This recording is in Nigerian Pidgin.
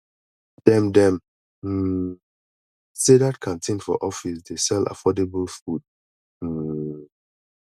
dem dem um sey dat canteen for office dey sell affordable food um